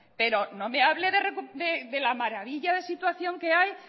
pero no me hable de la maravilla de situación que hay